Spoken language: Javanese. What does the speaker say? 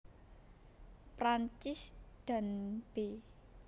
Perancis dan b